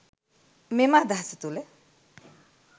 මෙම අදහස තුළ